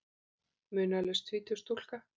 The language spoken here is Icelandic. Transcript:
Munaðarlaus tvítug stúlka.